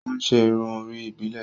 O n ṣe irun orí ibilẹ